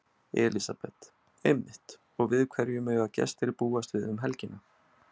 Elísabet: Einmitt og við hverju mega gestir búast við um helgina?